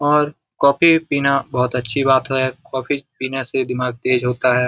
और कॉफी भी पीना बहोत अच्छी बात है कॉफी पीने से दिमाग तेज होता है।